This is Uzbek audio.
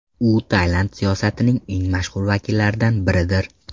U Tailand siyosatining eng mashhur vakillaridan biridir.